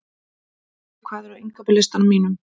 Liv, hvað er á innkaupalistanum mínum?